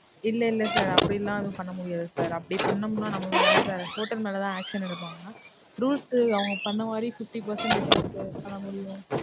இல்ல, இல்ல sir அப்டிலாம் எதும் பண்ணமுடியாது sir. அப்டி பண்ணோம்னா நம்மமேலதான், hotel மேலதான் action எடுப்பாங்க. rules அவங்க சொன்னமாதிரி fifty percentage தான் sir பண்ணமுடியும்.